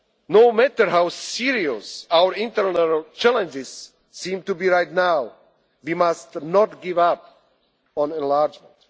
our neighbourhood. No matter how serious our internal challenges seem to be right now, we must not give